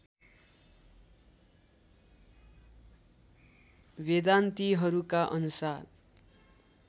वेदान्तिहरूका अनुसार